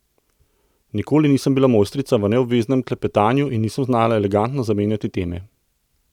Nikoli nisem bila mojstrica v neobveznem klepetanju in nisem znala elegantno zamenjati teme.